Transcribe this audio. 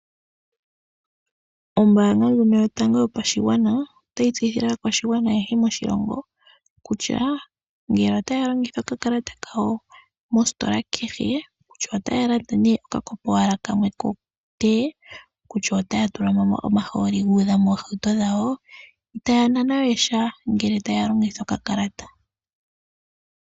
Ombaanga ndjono yotango yopashigwana otayi tseyithile aakwashigwana ayehe moshilongo kutya ngele otaya longitha okakalata kawo mostola kehe kutya otaya landa nee okafo kamwe kotee, kutya otaya tulamo omahooli guudha moohauto dhawo itaya nanwa we sha uuna taya longitha okakalata.